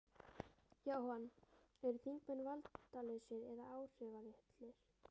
Jóhann: Eru þingmenn valdalausir eða áhrifalitlir?